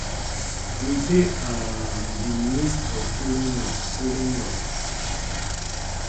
we dey um di midst of following up following up